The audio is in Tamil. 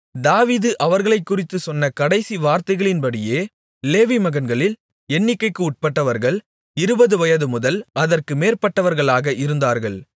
தாவீது அவர்களைக்குறித்துச் சொன்ன கடைசி வார்த்தைகளின்படியே லேவி மகன்களில் எண்ணிக்கைக்கு உட்பட்டவர்கள் இருபது வயதுமுதல் அதற்கு மேற்பட்டவர்களாக இருந்தார்கள்